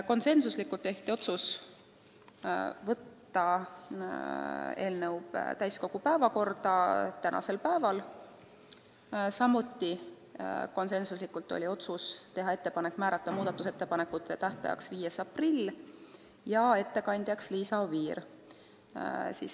Konsensusega langetati otsus võtta eelnõu täiskogu päevakorda tänaseks päevaks ja teha ettepanek määrata muudatusettepanekute tähtajaks 5. aprill ja ettekandjaks Liisa Oviir.